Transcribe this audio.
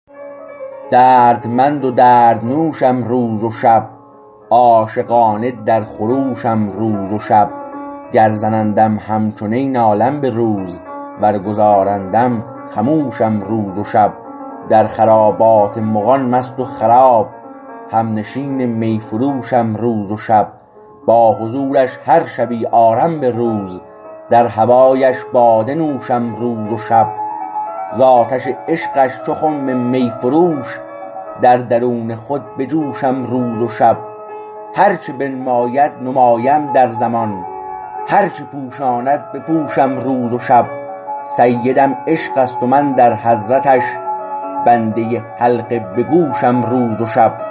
دردمند و دردنوشم روز و شب عاشقانه در خروشم روز و شب گر زنندم همچو نی نالم به روز ور گذارندم خموشم روز و شب در خرابات مغان مست و خراب همنشین می فروشم روز و شب با حضورش هر شبی آرم به روز در هوایش باده نوشم روز و شب ز آتش عشقش چو خم می فروش در درون خود بجوشم روز و شب هرچه بنماید نمایم در زمان هرچه پوشاند بپوشم روز و شب سیدم عشق است و من در حضرتش بنده حلقه به گوشم روز و شب